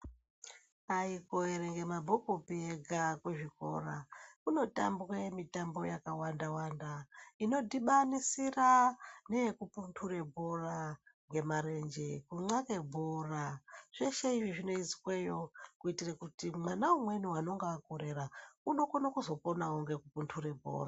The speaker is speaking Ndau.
Aikuerenge mabhukupi ega kuzvikora kunotambwe mitambo yakawanda wanda inodhibanisira neyekupunhure bhora ngemarenje kunxlake bhora zveshe izvi zvinoizweyo kuitire kuti mwana umweni unenga akorera unokone kuzoponawo ngekupunhure bhora.